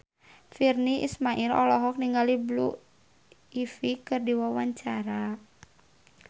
Virnie Ismail olohok ningali Blue Ivy keur diwawancara